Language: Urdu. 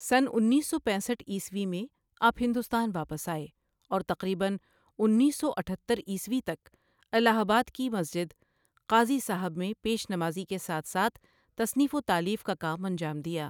سنہ انیس سو پینسٹھ عیسوی میں آپ ہندوستان واپس آئے اور تقریبًا انیس سو اٹھتر عیسوی تک الہ آباد کی مسجد قاضی صٓاحب میں پیش نمازی کے ساتھ ساتھ تصنیف و تالیف کا کام انجام دیاـ